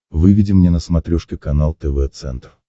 выведи мне на смотрешке канал тв центр